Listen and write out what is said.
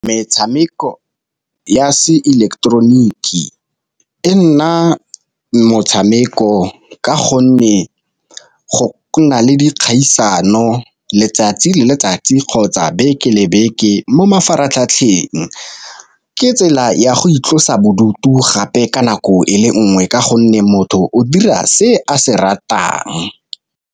Metshameko ya se ileketeroniki e nna motshameko ka gonne go na le dikgaisano letsatsi le le tsatsi kgotsa beke le beke mo mafaratlhatlheng. Ke tsela ya go itlosa bodutu gape ka nako ele nngwe, ka gonne motho o dira se a se ratang.